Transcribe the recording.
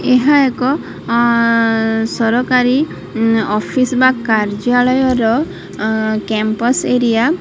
ଏହା ଏକ ଅଁ ସରକାରୀ ଅଫିସ ବା କାର୍ଯାଳୟ ର ଅଁ କ୍ୟାମ୍ପସ ଏରିଆ ।